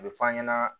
A bɛ f'an ɲɛna